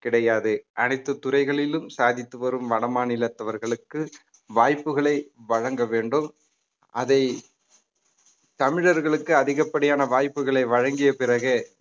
கிடையாது அனைத்து துறைகளிலும் சாதித்து வரும் வடமாநிலத்தவர்களுக்கு வாய்ப்புகளை வழங்க வேண்டும் அதை தமிழர்களுக்கு அதிகப்படியான வாய்ப்புகளை வழங்கிய பிறகே